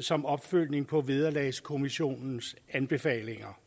som opfølgning på vederlagskommissionens anbefalinger